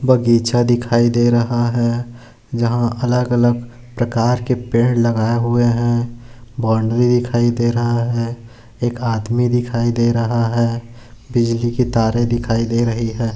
बगीचा दिखाई दे रहा है यहा अलग-अलग प्रकार के पेड़ लगाए हुए है बोंड्री दिखाई दे रहा है एक आदमी दिखाई दे रहा है बिजली की तारे दिखाई दे रहे है।